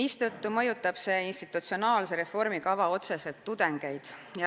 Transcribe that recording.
Seega mõjutab see institutsionaalse reformi kava otseselt tudengeid.